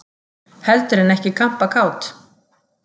Heldur en ekki kampakát!